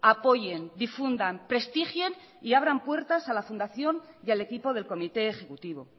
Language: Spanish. apoyen difundan prestigien y abran puertas a la fundación y al equipo del comité ejecutivo